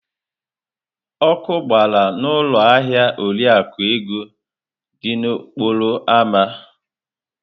Ọkụ gbara n'ụlọ ahịa Oriakụ Ego dị n'okporo ámá.